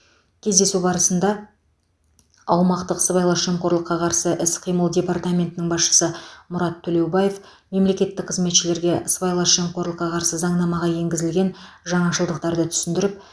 кездесу барысында аумақтық сыбайлас жемқорлыққа қарсы іс қимыл департаментінің басшысы мұрат төлеубаев мемлекеттік қызметшілерге сыбайлас жемқорлыққа қарсы заңнамаға енгізілген жаңашылдықтарды түсіндіріп